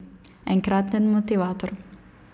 Enkraten motivator.